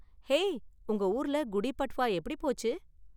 Hey, உங்க ஊருல குடி பட்வா எப்படி போச்சு?